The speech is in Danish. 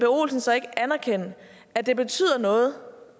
olsen så ikke anerkende at det betyder noget